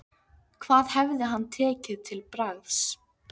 Hvað hefði hann tekið til bragðs?